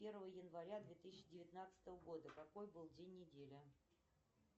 первое января две тысячи девятнадцатого года какой был день недели